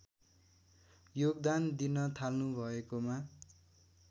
योगदान दिन थाल्नुभएकोमा